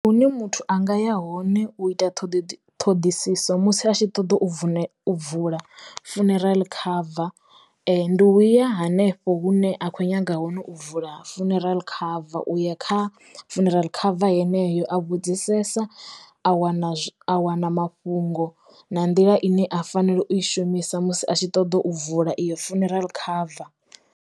Hune muthu anga ya hone u ita ṱhiḓi ṱhoḓisiso musi a tshi ṱoḓa u vuḽe u vula funeral cover ndi u ya hanefho hune a khou nyaga hone u vula funeral cover uya kha funeral cover heneyo a vhudzisesa a wana a wana mafhungo na nḓila ine a fanela u i shumisa musi a tshi ṱoḓa u vula iyo funeral cover.